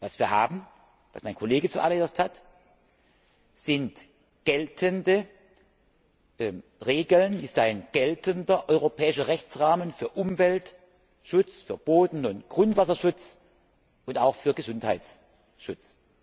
Was wir haben, was mein Kollege zuallererst hat, sind geltende Regeln, ist ein geltender europäischer Rechtsrahmen für Umweltschutz, für Boden und Grundwasserschutz und auch für Gesundheitsschutz.